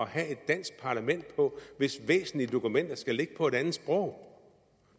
have et dansk parlament på hvis væsentlige dokumenter skal ligge på et andet sprog